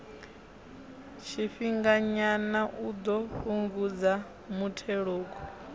tshifhinganyana u ḓo fhungudza muthelogu